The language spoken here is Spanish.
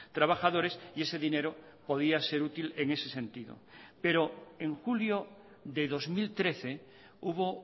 trabajadores y ese dinero podía ser útil en ese sentido pero en julio de dos mil trece hubo